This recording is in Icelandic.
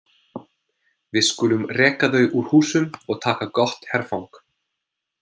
Við skulum reka þau úr húsum og taka gott herfang!